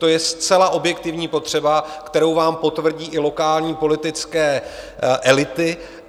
To je zcela objektivní potřeba, kterou vám potvrdí i lokální politické elity.